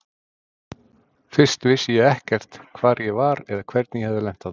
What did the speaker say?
Fyrst vissi ég ekkert hvar ég var eða hvernig ég hafði lent þarna.